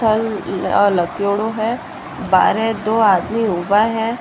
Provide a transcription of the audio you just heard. स्थल लगेडो है बार दो आदमी उबा है।